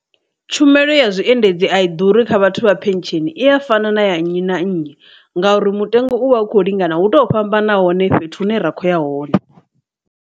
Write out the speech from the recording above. Tshumelo ya zwiendedzi a i ḓuri kha vhathu vha phesheni i a fana na ya nnyi na nnyi ngauri mutengo uvha u kho lingana hu tou vhamba nahone fhethu hune ra kho ya hone.